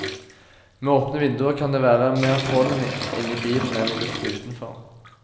Med åpne vinduer kan det være mer pollen inne i bilen enn i luften utenfor.